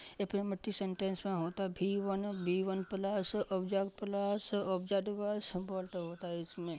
sentence में होता है B one B one plus इसमें |